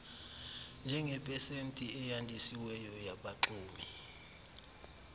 njengepesenti eyandisiweyo yabaxumi